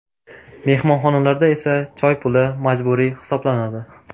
Mehmonxonalarda esa choy puli majburiy hisoblanadi.